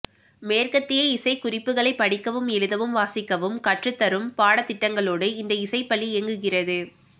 மேற்கத்திய இசைக்குறிப்புகளை படிக்கவும் எழுதவும் வாசிக்கவும் கற்றுத்தரும் பாடத்திட்டங்களோடு இந்த இசைப்பள்ளி இயங்குகிறது